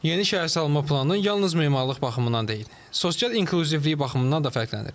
Yeni şəhərsalma planı yalnız memarlıq baxımından deyil, sosial inklüzivlik baxımından da fərqlənir.